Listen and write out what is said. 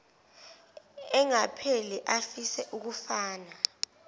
engapheli afise ukufana